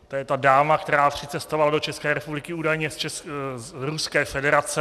To je ta dáma, která přicestovala do České republiky údajně z Ruské federace.